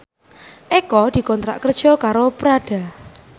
Eko dikontrak kerja karo Prada